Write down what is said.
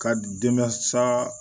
Ka denba sa